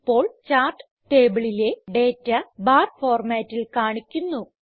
ഇപ്പോൾ ചാർട്ട് ടേബിളിലെ data bar ഫോർമാറ്റിൽ കാണിക്കുന്നു